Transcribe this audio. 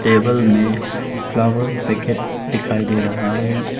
Table में flower packet दिखाई दे रहा है।